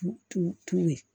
Tu ye